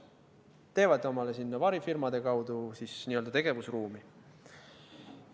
Nad teevad omale sinna varifirmade kaudu n-ö tegevusruumi.